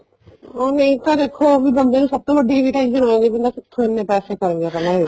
ਨਹੀਂ ਤਾਂ ਦੇਖੋ ਬੰਦੇ ਨੂੰ ਸਭ ਤੋਂ ਵੱਡੀ ਇਹੀ tension ਹੋ ਜਾਂਦੀ ਆ ਵੀ ਬੰਦਾ ਕਿੱਥੋਂ ਇੰਨੇ ਪੈਸੇ ਕਰੂਗਾ